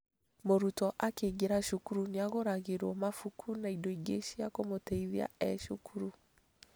Mũrutwo akĩingĩra cukuru nĩagũragĩrwo mabuku na indo ingĩ cia kũmũteithia e cukuru